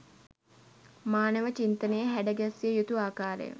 මානව චින්තනය හැඩ ගැස්විය යුතු ආකාරය